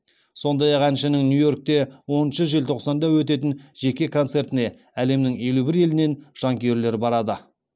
сондай ақ әншінің нью йоркте оныншы желтоқсанда өтетін жеке концертіне әлемнің елу бір елінен жанкүйерлер барады